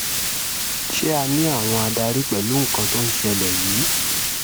ṣé a ní àwọn adarí pẹ̀lú nǹkan tó ń ṣẹlẹ̀ yìí